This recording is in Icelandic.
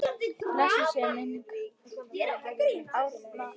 Blessuð sé minning Árna.